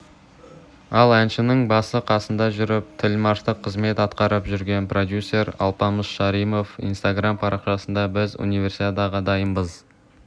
ал әншінің басы-қасында жүріп тілмаштық қызмет атқарып жүрген продюсер алпамыс шаримов инстаграм парақшасында біз универсиадаға дайынбыз